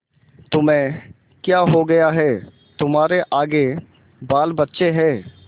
तुम्हें क्या हो गया है तुम्हारे आगे बालबच्चे हैं